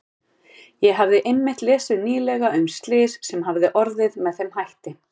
Ég hafði einmitt lesið nýlega um slys sem hafði orðið með þeim hætti.